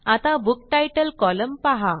आता बुक्तीतले कॉलम पाहा